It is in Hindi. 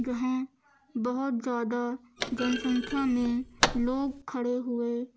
यहां बहुत ज्यादा जनसंख्या में लोग खड़े हुए--